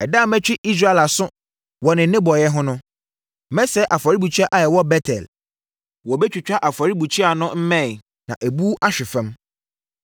“Ɛda a mɛtwe Israel aso wɔ ne nnebɔne ho no, mɛsɛe afɔrebukyia a ɛwɔ Bet-El; wɔbɛtwitwa afɔrebukyia no mmɛn na abu ahwe fam.